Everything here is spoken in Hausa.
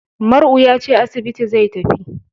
Mar'u ya ce asibiti zai tafi.